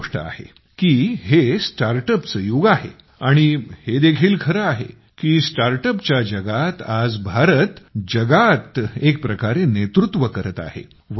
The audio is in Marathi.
खरी गोष्टही आहे हे StartUpचं युग आहे आणि हे देखील खरं आहे की StartUpच्या जगात आज भारत जगात एक प्रकारे नेतृत्व करत आहे